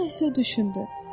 Sonra isə düşündü.